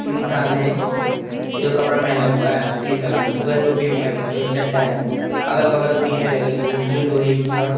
एक इंसान हैजो कपड़ा पहना हुआ है उसके बाद टोपी भी पहना हुआ हैचड्डा हैअगल बगल टीने लगे हुए हैंजो लोहे की और--